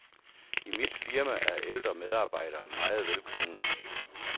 I mit firma er ældre medarbejdere meget velkomne.